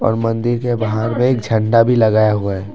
और मंदिर के बाहर में एक झंडा भी लगाया हुआ है।